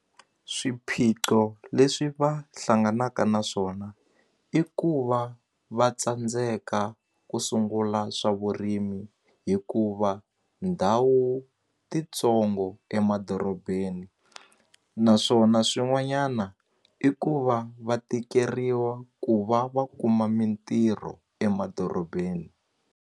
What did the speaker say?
Swiphiqo leswi va hlanganaka na swona i ku va va tsandzeka ku sungula swa vurimi hikuva ndhawu titsongo emadorobeni naswona swin'wanyana i ku va va tikeriwa ku va va kuma mintirho emadorobeni.